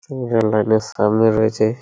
single line -এর সামনে রয়েছে--